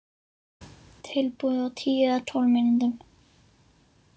Tilbúið á tíu eða tólf mínútum.